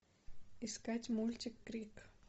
искать мультик крик